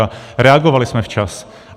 A reagovali jsme včas.